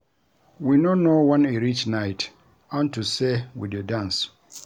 We no know wen e reach night unto say we dey dance